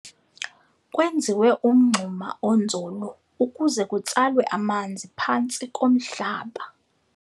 Kwenziwe umngxuma onzulu ukuze kutsalwe amanzi phantsi komhlaba.